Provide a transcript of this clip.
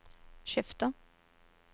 skifter